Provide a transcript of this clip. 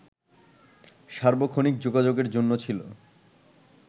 সার্বক্ষণিক যোগাযোগের জন্য ছিল